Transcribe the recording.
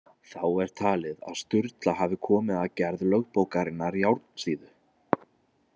Þá er talið að Sturla hafi komið að gerð lögbókarinnar Járnsíðu.